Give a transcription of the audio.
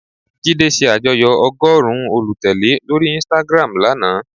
Jídé se àjoyọ́ ọgọ́rùn-ún olùtèlé lórí Instagram lana